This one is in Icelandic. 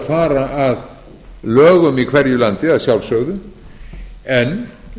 fara að lögum í hverju landi að sjálfsögðu en